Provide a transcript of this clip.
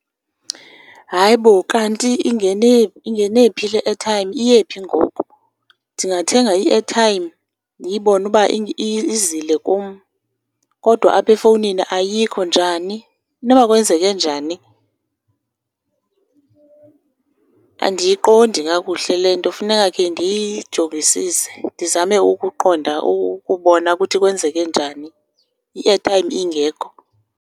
Hayi bo, kanti ingene phi le airtime, iye phi ngoku? Ndingathenga i-airtime ndiyibone uba izile kum kodwa apha efowunii ayikho. Njani? Inoba kwenzeke njani? Andiyiqondi kakuhle le nto, funeka khe ndiyijongisise, ndizame ukuqonda ukubona ukuthi kwenzeke njani i-airtime ingekho.